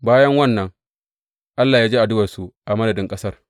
Bayan wannan Allah ya ji addu’arsu a madadin ƙasar.